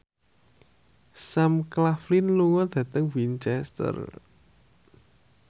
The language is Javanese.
Sam Claflin lunga dhateng Winchester